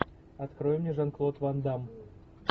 открой мне жан клод ван дамм